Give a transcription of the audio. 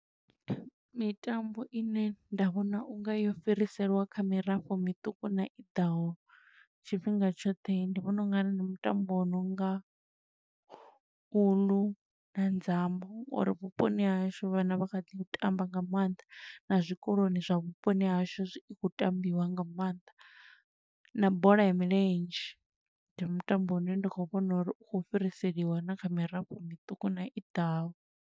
Mitambo ine nda vhona unga yo fhiriselwa kha mirafho miṱuku na iḓaho tshifhinga tshoṱhe, ndi vhona ungari ndi mutambo wo nonga uḽu na nzambo, ngo uri vhuponi ha hashu vhana vha kha ḓi u tamba nga maanḓa, na zwikoloni zwa vhuponi ha hashu zwi, i khou tambiwa nga maanḓa, na bola ya milenzhe. Ndi mutambo une ndi khou vhona uri u khou fhiriselwa na kha mirafho miṱuku na iḓaho.